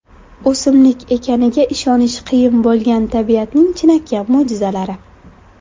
O‘simlik ekaniga ishonish qiyin bo‘lgan tabiatning chinakam mo‘jizalari .